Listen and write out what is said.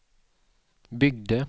byggde